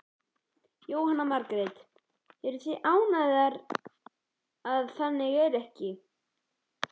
Jóhanna Margrét: Eruð þið ánægðar að það er ekki þannig?